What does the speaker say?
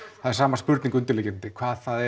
það er sama spurning undirliggjandi hvað það